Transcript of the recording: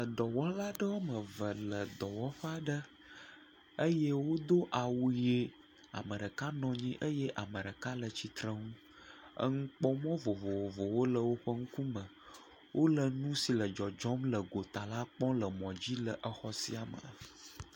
Edɔwɔla aɖewo woame eve le dɔwɔƒe aɖe eye wodo awu yie. Ame ɖeka nɔ nyi eye ame ɖeka le tsitreŋu. Eŋukpɔmɔ̃ vovovowo le woƒe ŋkume. Wole nu si le dzɔdzɔm le gota la kpɔm le emɔ̃dzi le exɔ sia me.